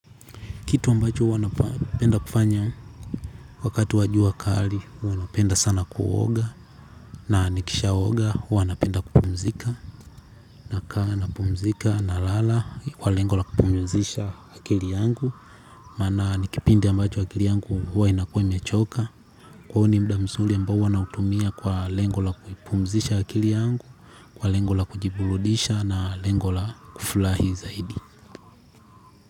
Kitu ambacho huwa napenda kufanya. Wakati wa jua kali huwa napenda sana kuoga, na nikishaoga huwa napenda kupumzika nakaa napumzika, nalala kwa lengo la kupumzisha akili yangu. Maana ni kipindi ambacho akili yangu huwa inakua imechoka, kwa hiyo ni muda mzuri ambao huwa nautumia kwa lengo la kuipumzisha akili yangu, kwa lengo la kujiburudisha na lengo la kufurahi zaidi.